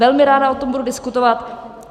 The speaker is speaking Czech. Velmi ráda o tom budu diskutovat.